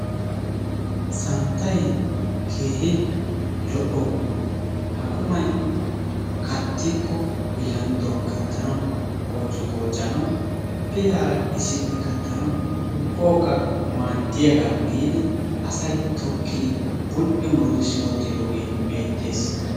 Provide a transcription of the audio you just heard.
Santtay keehi lo'o quma. Ha qumay kattikko bilandduwan kattanawu, qoocciqooccanawu, pilaara issippe kattanawu, ubbawukka maaddiyaagaa giidi asay tokkidi bul'i muruttisi wottidoogee beettees.